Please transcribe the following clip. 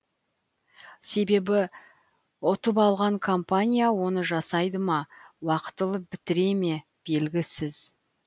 себебі ұтып алған компания оны жасайды ма уақтылы бітіре ме белгісіз